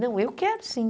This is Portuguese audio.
Não, eu quero sim.